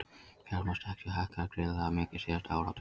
Fjármagnstekjur hækkuðu gríðarlega mikið síðasta áratuginn